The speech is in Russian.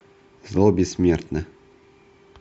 зло бессмертно